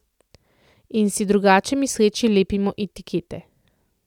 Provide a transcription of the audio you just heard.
In si drugače misleči lepimo etikete.